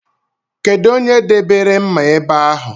Kedụ onye debere mma ebe ahụ?